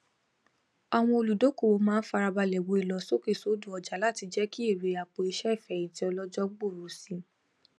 àwọn olùdókòwò máa ń farabalẹ wo ìlọsókèsódò ọjà láti jẹ kí èrè àpòiṣẹ ìfẹyìntì ọlọjọ gbòòrò si